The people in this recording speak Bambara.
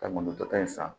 Ka mɔntɔ in san